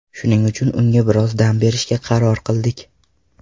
Shuning uchun unga biroz dam berishga qaror qildik.